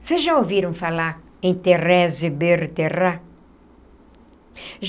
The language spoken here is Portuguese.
Vocês já ouviram falar em Thérèse Bertherat?